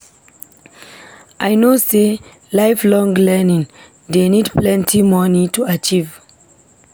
I know sey lifelong learning dey need plenty moni to achieve.